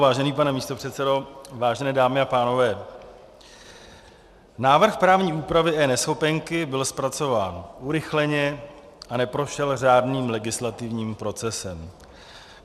Vážený pane místopředsedo, vážené dámy a pánové, návrh právní úpravy eNeschopenky byl zpracován urychleně a neprošel řádným legislativním procesem.